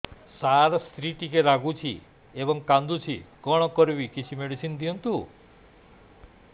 ସାର ସ୍ତ୍ରୀ ଟିକେ ରାଗୁଛି ଏବଂ କାନ୍ଦୁଛି କଣ କରିବି କିଛି ମେଡିସିନ ଦିଅନ୍ତୁ